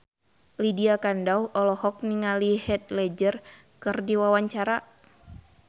Lydia Kandou olohok ningali Heath Ledger keur diwawancara